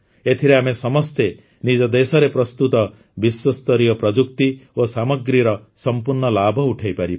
ଏଥିରେ ଆମେ ସମସ୍ତେ ନିଜ ଦେଶରେ ପ୍ରସ୍ତୁତ ବିଶ୍ୱସ୍ତରୀୟ ପ୍ରଯୁକ୍ତି ଓ ସାମଗ୍ରୀର ସଂପୂର୍ଣ୍ଣ ଲାଭ ଉଠାଇପାରିବା